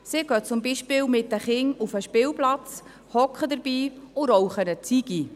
Sie gehen zum Beispiel mit den Kindern auf den Spielplatz, sitzen daneben und rauchen eine Zigarette.